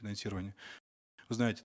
финансирование знаете